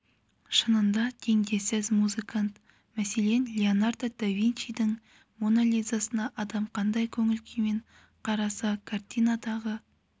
шынында теңдессіз музыкант мәселен леонардо до винчидің моно лизасына адам қандай көңіл күймен қараса картинадағы